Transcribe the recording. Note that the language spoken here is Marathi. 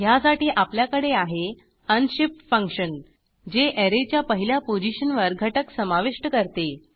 ह्यासाठी आपल्याकडे आहे अनशिफ्ट फंक्शन जे ऍरेच्या पहिल्या पोझिशनवर घटक समाविष्ट करते